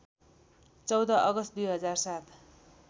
१४ August २००७